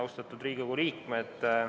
Austatud Riigikogu liikmed!